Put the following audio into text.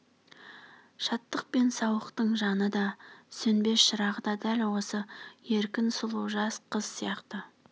шаттық пен сауықтың жаны да сөнбес шырағы да дәл осы еркін сұлу жас қыз сияқты